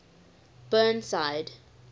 burnside